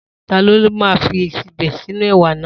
Ta ló ma fẹ́ fi ìsebẹ̀ sínú èwà náà?